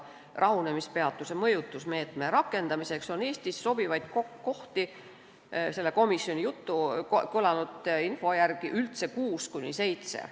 Rahunemispeatuse mõjutusmeetme rakendamiseks on Eestis sobivaid kohti selle komisjonis kõlanud info järgi üldse kuus kuni seitse.